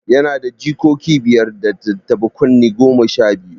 Yana da jikoki biyar, da tattaɓa kunne goma sha biyu.